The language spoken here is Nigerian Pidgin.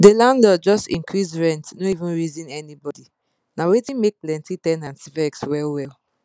the landlord just increase rent no even reason anybody na wetin make plenty ten ants vex well well